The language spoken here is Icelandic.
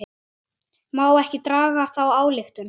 Má ekki draga þá ályktun?